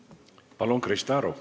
Palun, Krista Aru!